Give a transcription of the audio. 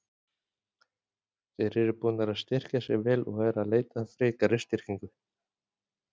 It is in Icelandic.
Þeir eru búnir að styrkja sig vel og eru að leita að frekari styrkingu.